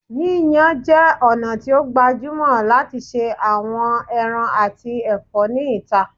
Yiyan jẹ ọna ti o gbajumọ lati ṣe awọn ẹran ati ẹfọ ni ita